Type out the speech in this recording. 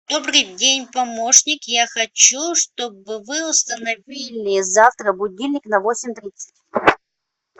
добрый день помощник я хочу чтобы вы установили завтра будильник на восемь тридцать